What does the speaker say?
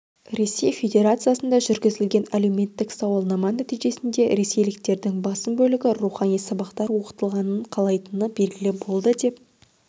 ресей федерациясында жүргізілген әлеуметтік сауалнама нәтижесінде ресейліктердің басым бөлігі рухани сабақтар оқытылғанын қалайтыны белгілі болды деп